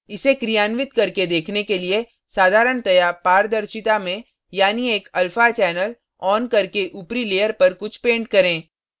इसे क्रियान्वित करके देखने के लिए साधारणतया पारदर्शिता में यानी एक alpha channel on करके ऊपरी layer पर कुछ paint करें